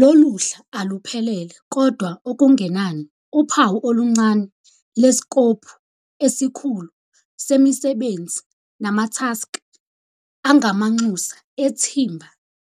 Loluhla aluphelele kodwa okungenani uphawu oluncane leskophu esikhulu semisebenzi namathaskhi angamanxusa ethimba